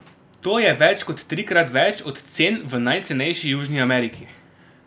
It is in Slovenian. To je več kot trikrat več od cen v najcenejši Južni Ameriki.